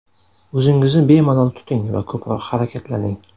O‘zingizni bemalol tuting va ko‘proq harakatlaning.